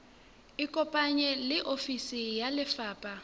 ikopanye le ofisi ya lefapha